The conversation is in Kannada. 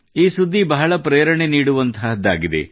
ಈ ಸುದ್ದಿ ಬಹಳ ಪ್ರೇರಣೆ ನೀಡುವಂಥದ್ದಾಗಿದೆ